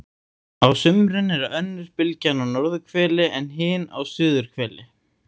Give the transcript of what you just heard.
Á sumrin er önnur bylgjan á norðurhveli en hin á suðurhveli.